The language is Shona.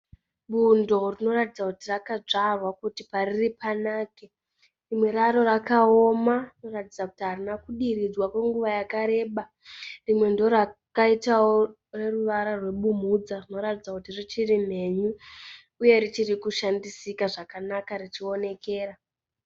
Bundo rinoratidza kuti rakadzvarwa kuti pariri panake. Rimwe raro rakaoma kuratidza kuti harina kudiridzwa kwenguva yakareba. Rimwe ndorakaitawo reruvara rebumhudza rinoratidza kuti richiri mhenyu uye richiri kushandisika zvakanaka richionekera.